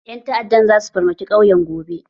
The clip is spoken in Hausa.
Ƴan ta'addan zasu farmaki ƙauyen gobe.